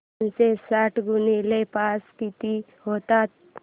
दोनशे साठ गुणिले पाच किती होतात